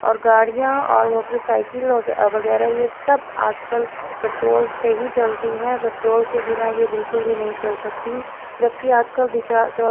और गाड़ियां और मोटरसाइकिल वगै वगैरह ये सब आजकल पेट्रोल से ही चलती हैं पेट्रोल के बिना ये बिल्कुल भी नहीं चल सकती जब कि आजकल रिचार्ज